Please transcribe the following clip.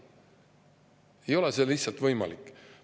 See ei ole lihtsalt võimalik.